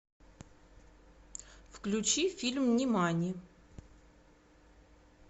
включи фильм нимани